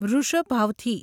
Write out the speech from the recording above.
વૃષભાવથી